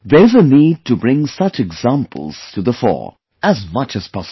There is a need to bring such examples to the fore as much as possible